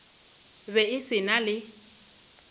be e se na le